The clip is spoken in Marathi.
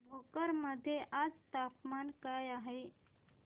भोकर मध्ये आज तापमान काय आहे